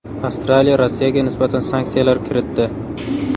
Avstraliya Rossiyaga nisbatan sanksiyalar kiritdi.